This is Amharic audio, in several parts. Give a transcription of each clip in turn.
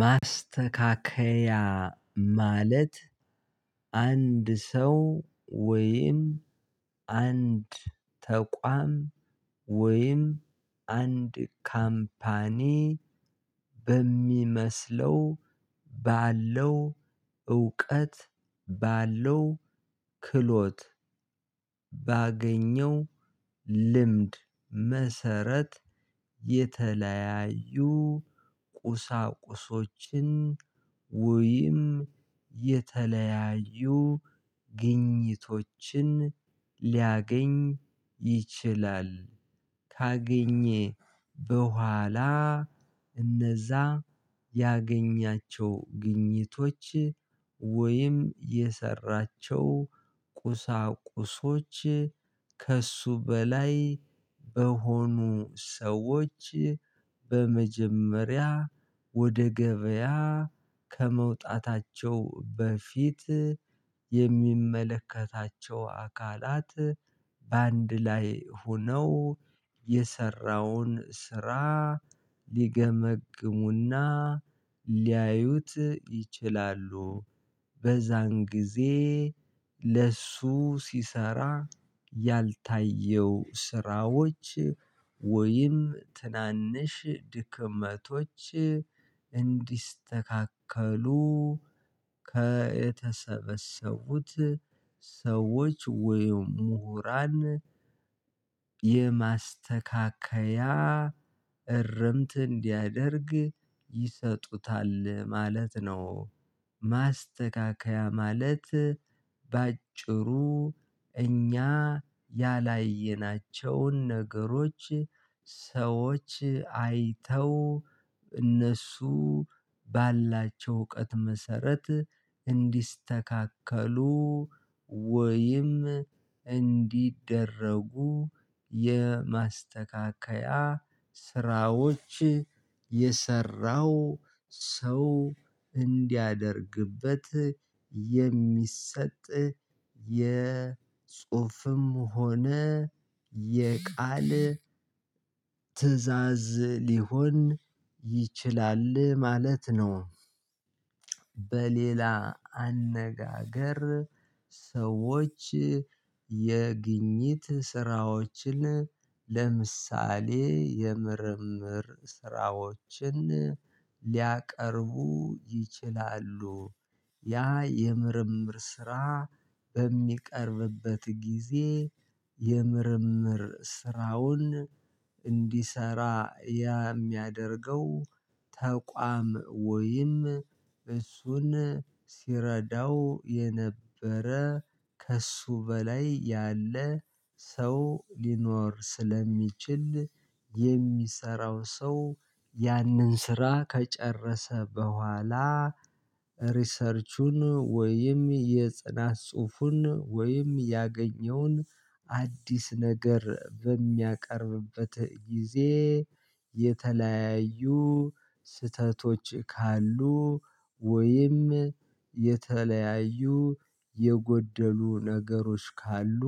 ማስተካከያ ማለት አንድ ሰው ወይም አንድ ተቋም ወይም አንድ ካምፓኒ በሚመስለው ባለው እውቀት ባለው ክሎት ባገኘው ልምድ መሰረት የተለያዩ ቁሳቁሶችን ወይም የተለያዩ ግኝቶችን ሊያገኝ ይችላል። ካገኘ በኋላ እነዛ ያገኛቸው ግኝቶች ወይም የሰራቸው ቁሳቁሶች ከእሱ በላይ በሆኑ ሰዎች በመጀመሪያ ወደ ገበያ ከመውጣታቸው በፊት የሚመለከታቸው አካላት በአንድ ላይ ሆነው የሰራውን ስራ ሊገመግሙና ሊያዩት ይችላሉ። በዛን ጊዜ ለእሱ ሲሰራ ያልታየው ስራዎች ወይም ትናንሽ ድክመቶች እንዲስተካከሉ ከተሰበሰቡት ሰዎች ወይም ምሁራን የማስተካከያ እረምት እንዲያደርግ ይሰጡታል ማለት ነው። ማስተካከያ ማለት በአጭሩ እኛ ያላየናቸውን ነገሮች ሰዎች አይተው እነሱ ባላቸው እውቀት መሰረት እንዲስተካከሉ ወይም እንዲደረጉ የማስተካከያ ስራዎች የሰራው ሰው እንዲያደርግበት የሚሰጥ የጽሁፍም ሆነ የቃል ትእዛዝ ሊሆን ይችላል ማለት ነው። በሌላ አነጋገር ሰዎች የግኝት ስራዎችን ለምሳሌ የምርምር ስራዎችን ሊያቀርቡ ይችላሉ። ያ የምርምር ስራ በሚቀርብበት ጊዜ የምርምር ስራውን እንዲሰራ የሚያደርገው ተቋም ወይም እሱን ሲረዳው የነበረ ከእሱ በላይ ያለ ሰው ሊኖር ስለሚችል የሚሰራው ሰው ያንን ስራ ከጨረሰ በኋላ ሪሰርቹን ወይም የጽናት ጽሁፉን ወይም ያገኘውን አዲስ ነገር በሚያቀርብበት ጊዜ የተለያዩ ስህተቶች ካሉ ወይም የተለያዩ የጎደሉ ነገሮች ካሉ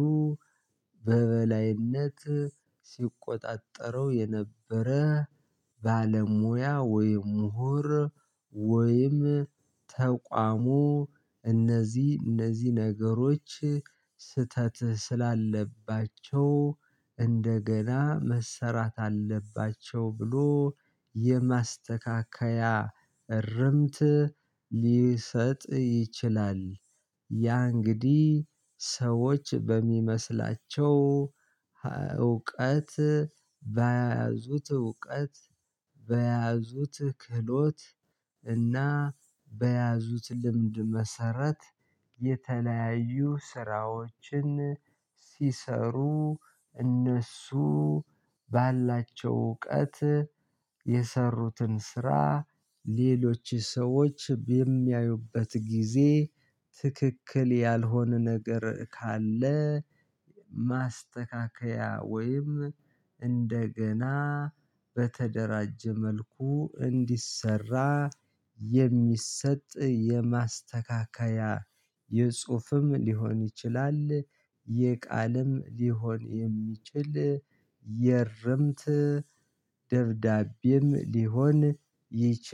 በበላይነት ሲቆጣጠረው የነበረ ባለሙያ ወይ ምሁር ወይም ተቋሙ እነዚህ እነዚህ ነገሮች ስህተት ስላለባቸው እንደገና መሰራት አለባቸው ብሎ የማስተካከያ እርምት ሊሰጥ ይችላል። ያ እንግዲህ ሰዎች በሚመስላቸው እውቀት በያዙት እውቀት፣ በያዙት ክህሎት እና በያዙት ልምድ መሰረት የተለያዩ ስራዎችን ሲሰሩ እነሱ ባላቸው እውቀት የሰሩትን ስራ ሌሎች ሰዎች በሚያዩበት ጊዜ ትክክል ያልሆነ ነገር ካለ ማስተካከያ ወይም እንደገና በተደራጀ መልኩ እንዲሰራ የሚሰጥ የማስተካከያ የጽሁፍም ሊሆን ይችላል የቃልም ሊሆን የሚችል የርምት ደብዳቤም ሊሆን ይችላል።